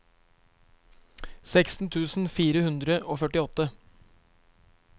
seksten tusen fire hundre og førtiåtte